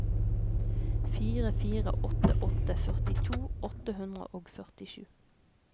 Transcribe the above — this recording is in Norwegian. fire fire åtte åtte førtito åtte hundre og førtisju